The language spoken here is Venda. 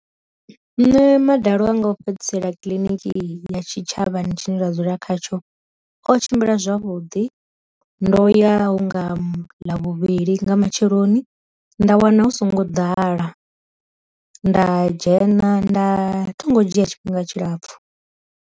Nṋe madalo a nga o fhedzisela kiḽiniki ya tshi tshavhani tshine nda dzula khatsho o tshimbila zwavhuḓi, ndo ya hunga ḽa vhuvhili nga matsheloni nda wana hu songo ḓala, nda dzhena nda thingo dzhia tshifhinga tshilapfu.